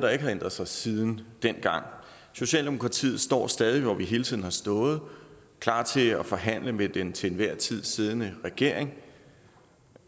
der ikke har ændret sig siden dengang socialdemokratiet står stadig hvor vi hele tiden har stået klar til at forhandle med den til enhver tid siddende regering